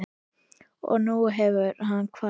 Og nú hefur hann kvatt.